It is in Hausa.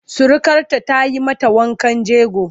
Surukarta za ta yi mata wankan jego.